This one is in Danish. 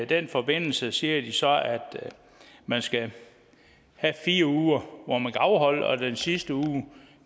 den forbindelse siger de så at man skal have fire uger hvor man kan afholde ferie og den sidste uge